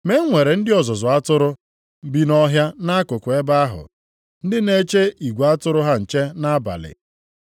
Ma e nwere ndị ọzụzụ atụrụ + 2:8 Ndị ọzụzụ atụrụ Maọbụ, ndị na-elekọta atụrụ. bi nʼọhịa nʼakụkụ ebe ahụ, ndị na-eche igwe atụrụ ha nche nʼabalị.